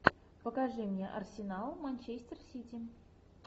покажи мне арсенал манчестер сити